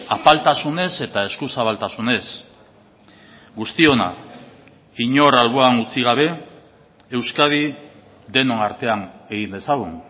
apaltasunez eta eskuzabaltasunez guztiona inor alboan utzi gabe euskadi denon artean egin dezagun